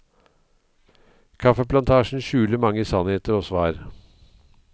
Kaffeplantasjen skjuler mange sannheter og svar.